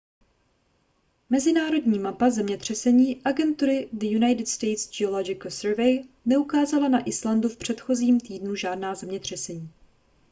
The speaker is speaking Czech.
mezinárodní mapa zemětřesení agentury the united states geological survey neukázala na islandu v předchozím týdnu žádná zemětřesení